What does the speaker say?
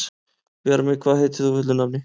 Bjarmi, hvað heitir þú fullu nafni?